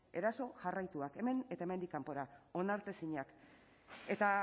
eraso jarraitua hemen eta hemendik kanpora onartezinak eta